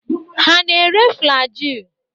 Ha na-ere Flaji?